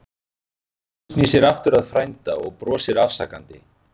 Úlfur snýr sér aftur að frænda og brosir afsakandi.